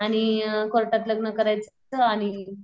आणि कोर्टात लग्न करायचं फक्त आणि